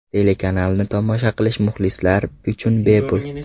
Telekanalni tomosha qilish muxlislar uchun bepul.